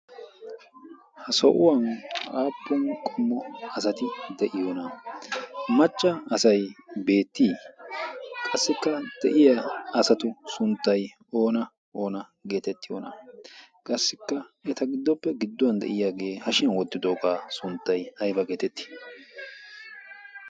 Ha so7uwan aappun qommo asati de7iyoonaaa? macca asay beettii qassikka de7iya asatu sunttay oona oona geetetti? qassikka eta giddoppe gidduwan de7iyaagee hashshiyan woddidoogaa sunttay aybba geetettii?